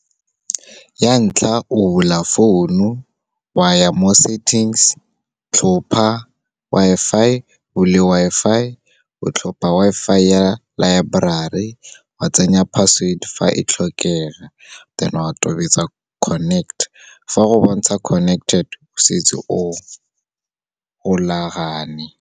Ya ntlha, o bula founu wa ya mo settings, tlhopha Wi-Fi, o bule Wi-Fi, o tlhopha Wi-Fi ya library, wa tsenya password fa e tlhokega, then o a tobetsa connect. Fa go bontsha connected, setse o golagane.